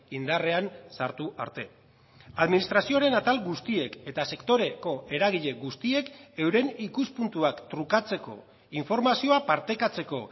indarrean sartu arte administrazioaren atal guztiek eta sektoreko eragile guztiek euren ikuspuntuak trukatzeko informazioa partekatzeko